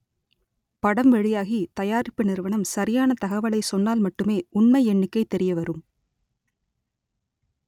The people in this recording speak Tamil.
படம் வெளியாகி தயா‌ரிப்பு நிறுவனம் ச‌ரியான தகவலை சொன்னால் மட்டுமே உண்மை எண்ணிக்கை தெ‌ரியவரும்